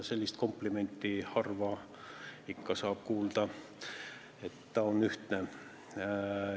Sellist komplimenti saab ikka harva kuulda, et ta on ühtne.